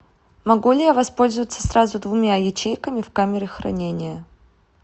могу ли я воспользоваться сразу двумя ячейками в камере хранения